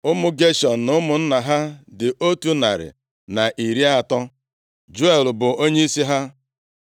Ụmụ Geshọm na ụmụnna ha dị otu narị na iri atọ. (130) Juel bụ onyeisi ha.